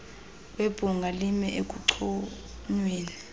webhunga lime ekunconyweni